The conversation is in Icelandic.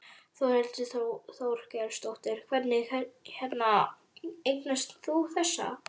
Þórhildur Þorkelsdóttir: Hvernig hérna eignaðist þú þessa?